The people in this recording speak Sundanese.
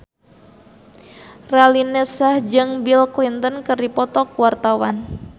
Raline Shah jeung Bill Clinton keur dipoto ku wartawan